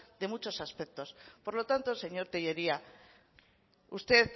de muchos aspectos por lo tanto señor tellería usted